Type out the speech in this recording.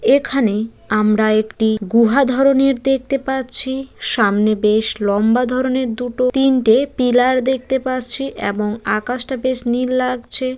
এখানে আমরা একটি গুহা ধরনের দেখতে পাচ্ছি সামনে বেশ লম্বা ধরনের দুটো তিনটে পিলার দেখতে পাচ্ছি এবং আকাশটা বেশ নীল লাগছে।